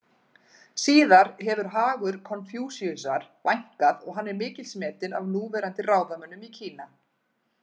Síðar hefur hagur Konfúsíusar vænkað og hann er mikils metinn af núverandi ráðamönnum í Kína.